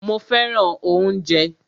Mó fẹràn oúnjẹ.